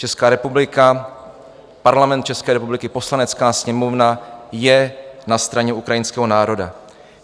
Česká republika, Parlament České republiky, Poslanecká sněmovna je na straně ukrajinského národa.